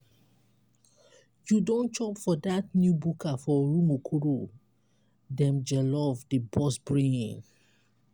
you don chop for dat new buka for rumuokoro? dem jollof dey burst brain!